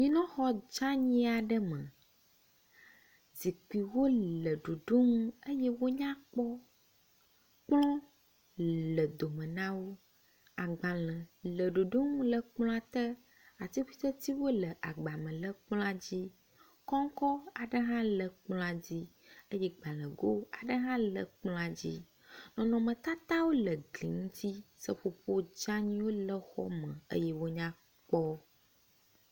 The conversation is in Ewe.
Anyinɔxɔ dzani aɖe me. Zikuiwo le ɖoɖonu eye wo nyakpɔ. Kplɔ le dome na wo. Agbale le ɖoɖonu le ekplɔ te. Atikutsetsewo le agba me le kplɔa dzi. Kɔŋkɔ aɖe hã le kplɔa dzi eye gbalego aɖe hã le kplɔa dzi. Nɔnɔmetatawo le gli ŋuti. Seƒoƒo dzaniwo le xɔ me eye wo nyakpɔ.